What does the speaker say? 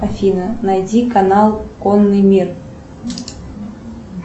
афина найди канал конный мир